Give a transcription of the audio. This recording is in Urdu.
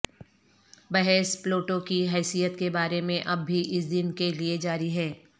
بحث پلوٹو کی حیثیت کے بارے میں اب بھی اس دن کے لئے جاری ہے